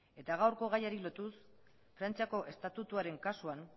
eta gaurko gaiari lotuz frantziako estatutuaren kasuan